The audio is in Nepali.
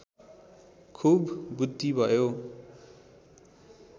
खुब बृद्धि भयो